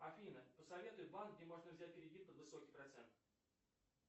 афина посоветуй банк где можно взять кредит под высокий процент